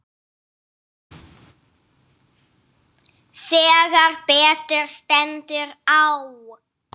Þegar betur stendur á